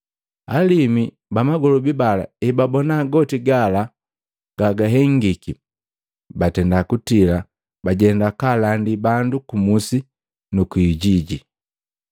Alimu ba magolobi bala ebabona goti gala ga gahengiki, batenda kutila bajenda kaalandi bandu kumusi nuku ijiji.